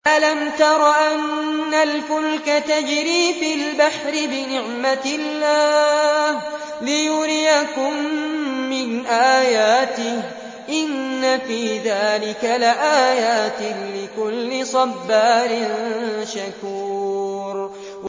أَلَمْ تَرَ أَنَّ الْفُلْكَ تَجْرِي فِي الْبَحْرِ بِنِعْمَتِ اللَّهِ لِيُرِيَكُم مِّنْ آيَاتِهِ ۚ إِنَّ فِي ذَٰلِكَ لَآيَاتٍ لِّكُلِّ صَبَّارٍ شَكُورٍ